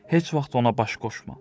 Heç vaxt ona baş qoşma.